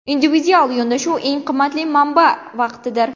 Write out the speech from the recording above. Individual yondashuv Eng qimmatli manba vaqtdir.